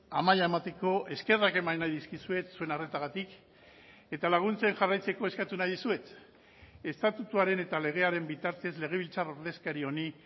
amaia emateko eskerrak eman nahi dizkizuet zuen arretagatik eta laguntzen jarraitzeko eskatu nahi dizuet estatutuaren eta legearen bitartez legebiltzar ordezkari honi